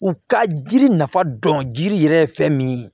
U ka jiri nafa dɔn jiri yɛrɛ ye fɛn min ye